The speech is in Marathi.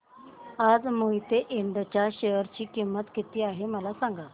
आज मोहिते इंड च्या शेअर ची किंमत किती आहे मला सांगा